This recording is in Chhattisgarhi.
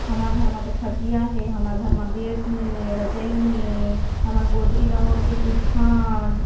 हमर घर म तो खटिया हे हमर घर म बेड नई हे रजाई नई हे हमन गोदरी ला ओढ़ के सूतथन।